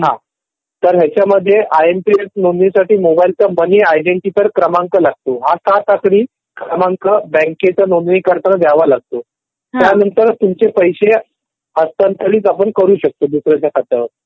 हा तर याच्यामध्ये आय एम पी एस नोंदणीसाठी मोबाईलचा मनी आयडेंटीकर क्रमांक लागतो. हा सात आकडी क्रमांक बँकेत नोंदणी करताना द्यावा लागतो.